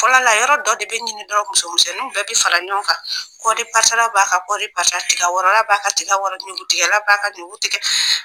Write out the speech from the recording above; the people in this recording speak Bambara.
Fɔlɔ la, yɔrɔ dɔ de bɛ ɲini musoninw bɛɛ bɛ fara ɲɔgɔn kan, kɔɔripasala b'a ka kɔɔri pasa, tigawɔrɔla b'a ka tigɛ wɔrɔ, ɲukutigɛla b'a ka ɲuku tigɛ.